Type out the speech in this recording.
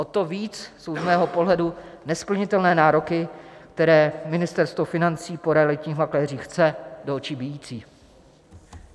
O to víc jsou z mého pohledu nesplnitelné nároky, které Ministerstvo financí po realitních makléřích chce, do očí bijící.